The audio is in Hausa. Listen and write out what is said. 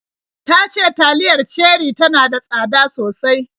Ta ce taliyar Cherie tana da tsada sosai